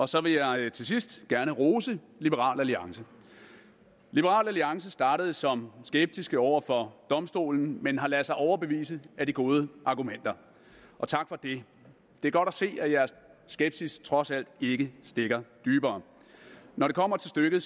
så jeg vil til sidst gerne rose liberal alliance liberal alliance startede som skeptiske over for domstolen men har ladet sig overbevise af de gode argumenter og tak for det det er godt at se at jeres skepsis trods alt ikke stikker dybere når det kommer til stykket